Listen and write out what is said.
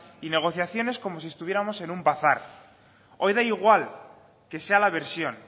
y negociaciones como si estuviéramos en un bazar hoy da igual que sea la versión